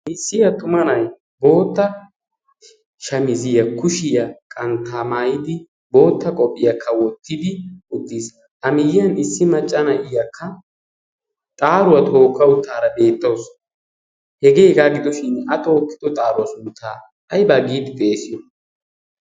aissiyaa xuma na7i bootta shamiziya kushiyaa qanttaamaayidi bootta qophphiyaa kawottidi uttiis a miyyiyan issi maccana iyaakka xaaruwaa tookka uttaara beettoos hegee hegaa gidoshin a tookkido xaaruwaa su uttaa haibaa giidi xeesyo?